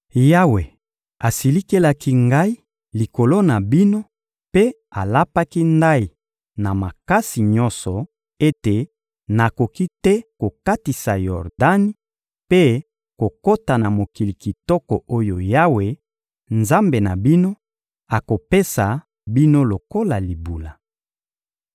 Yawe asilikelaki ngai likolo na bino mpe alapaki ndayi na makasi nyonso ete nakoki te kokatisa Yordani mpe kokota na mokili kitoko oyo Yawe, Nzambe na bino, akopesa bino lokola libula.